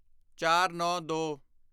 ਚਾਰਨੌਂਦੋ